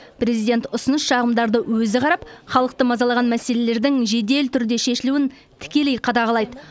президент ұсыныс шағымдарды өзі қарап халықты мазалаған мәселелердің жедел түрде шешілуін тікелей қадағалайды